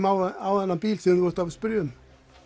á svona bíl sem þú ert að spyrja um